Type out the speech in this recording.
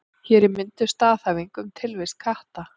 Hér er mynduð staðhæfing um tilvist katta.